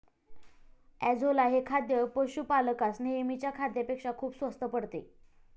Azolla हे खाद्य पशुपालकास नेहमीच्या खाद्यापेक्षा खूप स्वस्त पडते.